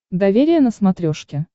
доверие на смотрешке